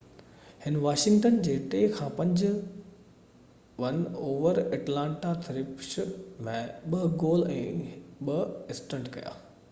هن واشنگٽن جي 5-3 won over Atlanta Thrashers ۾ 2 goal ۽ 2 assistant ڪيا